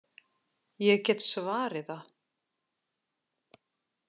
Ég get svarið það.